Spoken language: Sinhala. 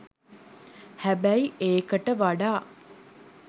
හැබැයි ඒකට වඩා